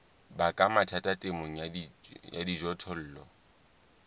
baka mathata temong ya dijothollo